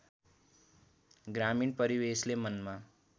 ग्रामीण परिवेशले मनमा